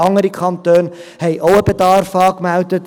andere Kantone haben auch einen Bedarf angemeldet.